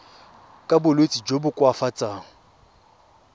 ka bolwetsi jo bo koafatsang